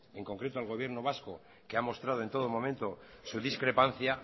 en concreto el gobierno vasco que ha mostrado en todo momento su discrepancia